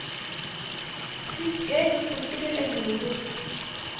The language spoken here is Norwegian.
Pisk egg og sukker til eggedosis.